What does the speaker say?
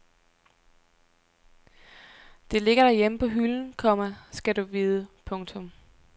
Det ligger derhjemme på hylden, komma skal du vide. punktum